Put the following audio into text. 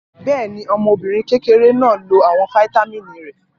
Bẹ́ẹ̀ ni, ọmọbìnrin kékeré náà lo àwọn fataímìn rẹ̀.